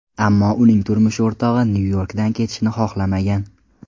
Ammo uning turmush o‘rtog‘i Nyu-Yorkdan ketishni xohlamagan.